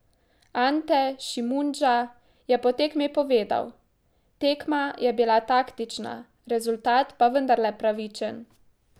Ante Šimundža je po tekmi povedal: 'Tekma je bila taktična, rezultat pa vendarle pravičen.